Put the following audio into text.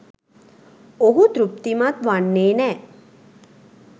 ඔහු තෘප්තිමත් වන්නෙ නෑ